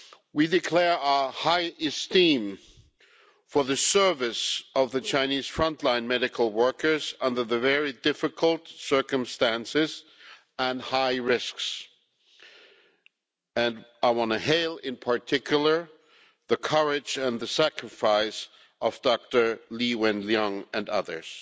We declare our high esteem for the service of the Chinese frontline medical workers under the very difficult circumstances and high risks, and I want to hail, in particular, the courage and the sacrifice of Dr Li Wenliang and others.